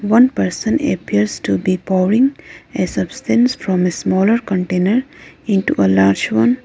one person appears to be pouring a substance from a smaller container into a large one.